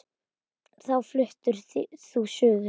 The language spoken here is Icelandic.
Þá fluttir þú suður.